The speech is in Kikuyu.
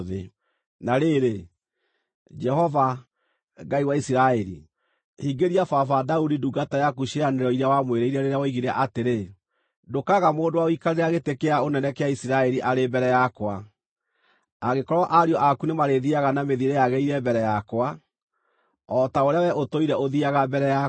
“Na rĩrĩ, Jehova, Ngai wa Isiraeli, hingĩria baba, Daudi ndungata yaku ciĩranĩro iria wamwĩrĩire rĩrĩa woigire atĩrĩ, ‘Ndũkaaga mũndũ wa gũikarĩra gĩtĩ kĩa ũnene kĩa Isiraeli arĩ mbere yakwa, angĩkorwo ariũ aku nĩmarĩthiiaga na mĩthiĩre yagĩrĩire mbere yakwa, o ta ũrĩa wee ũtũire ũthiiaga mbere yakwa.’